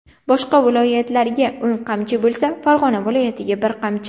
Boshqa viloyatlarga o‘n qamchi bo‘lsa, Farg‘ona viloyatiga bir qamchi.